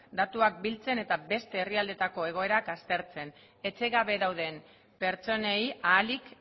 datuak biltzen eta beste herrialdeetako egoerak aztertzen etxe gabe dauden pertsonei ahalik